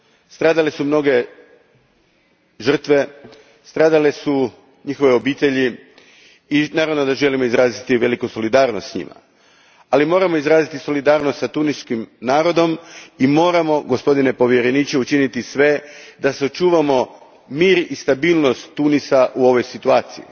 Stradale su mnoge žrtve, stradale su njihove obitelji i naravno da želimo izraziti veliku solidarnost s njima. Ali moramo izraziti solidarnost i s tuniškim narodom i moramo, gospodine povjereniče, učiniti sve da sačuvamo mir i stabilnost Tunisa u ovoj situaciji.